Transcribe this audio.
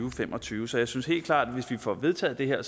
og fem og tyve så jeg synes helt klart at hvis vi får vedtaget det her